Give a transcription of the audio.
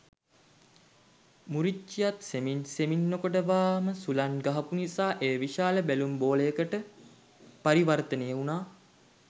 මුරිච්චියාත් සෙමින් සෙමින් නොකඩවාම සුළං ගහපු නිසා එය විශාල බැලුම් බෝලයකට පරිවර්තනය වුණා.